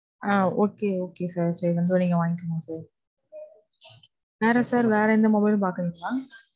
ஆஹ் Okay, Okay sir. so இங்க வந்து நீங்க வாங்கிக்கோங்க sir. வேற sir? வேற எந்த mobile உம் பாக்குறீங்களா?